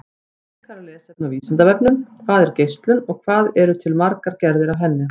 Frekara lesefni á Vísindavefnum: Hvað er geislun og hvað eru til margar gerðir af henni?